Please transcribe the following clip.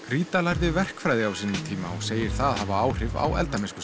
rita lærði verkfræði og segir það hafa áhrif á eldamennskuna